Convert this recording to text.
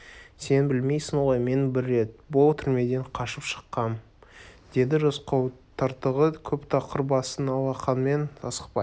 сен білмейсің ғой мен бір рет бұл түрмеден қашып шыққам деді рысқұл тыртығы көп тақыр басын алақанымен асықпай